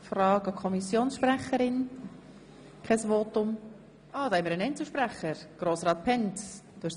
Nun hat sich noch ein Einzelsprecher angemeldet.